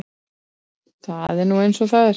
Það er nú eins og það er.